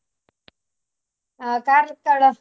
ಹಾ Karkala .